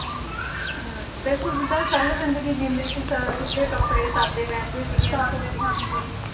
ਹੁੰ ਬਿਲਕੁਲ ਜਿਦਾਂ ਸਰਲ ਜਿੰਦਗੀ ਜਿਉਂਦੇ ਸੀ ਸ ਸਿੱਧੇ ਕਪੜੇ ਸਾਧੇ ਰਹਿੰਦੇ ਸੀਗੇ ਹਨਾਂ